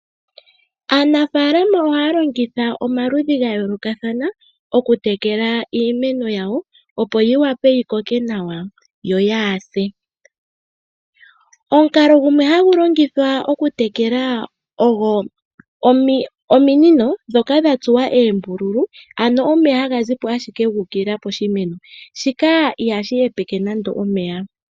Aanafaalama ohaya longitha omaludhi gayoolokathana okutekela iimeno yawo opo yi vule yikoke nawa yo kayi se . Omukalo gumwe hagu longithwa okutekela ogo ominino ndhoka dha tsuwa eembululu , ano omeya haga zi mo ashike guukilila poshimeno. Shika ihashi hepeke nande omeya.